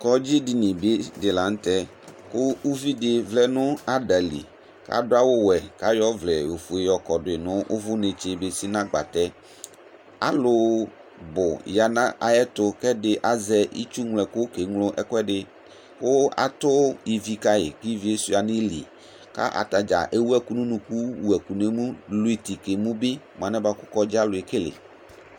Kɔŋdzidini di la nʋ tɛɛ, kʋ uvi di vlɛ nʋ ada li Kʋ adʋ awʋ wɛ kʋ ayɔ ɔvlɛ ofue yɔ kɔdʋ yi nʋ ʋvʋ netse besi nʋ agbatɛ Alʋ bʋ ya nʋ ayɛtʋ kʋ ɛdi azɛ itsuŋloɛkʋ keeŋlo ɛkʋɛdi kʋ atʋ ivi ka yi kʋ ivi yɛ sʋia nʋ ili Kʋ ata dza ewuɛkʋ nʋ unuku, wuɛkʋ nʋ emu, lʋ iti ka emu bi mʋ alɛnɛɛ bʋa kʋ kɔŋdzialʋ ekele